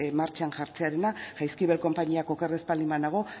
martxan jartzearena jaizkibel konpainiak oker ez baldin banago